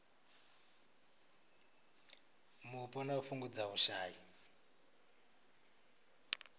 mupo na u fhungudza vhushai